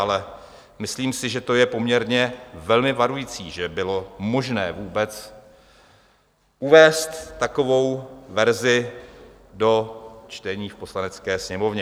Ale myslím si, že to je poměrně velmi varující, že bylo možné vůbec uvést takovou verzi do čtení v Poslanecké sněmovně.